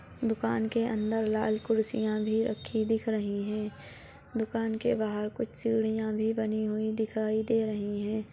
दुकान के अंदर लाल कुर्सिया भी रखी दिख रही है दुकान के बाहर कुछ सीढ़िया भी बनी दिखाई दे रही है।